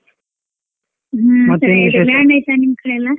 ನಿಮ್ಕಡೆ ಎಲ್ಲ.